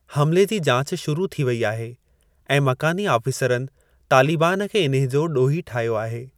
हमले जी जाच शुरू थी वई आहे ऐं मकानी आफ़ीसरनि तालिबान खे इन्हे जो ॾोही ठाहियो आहे।